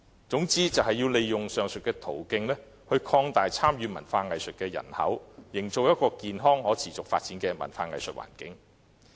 總之，要利用上述途徑擴大參與文化藝術的人口，營造一個健康可持續發展的文化藝術環境。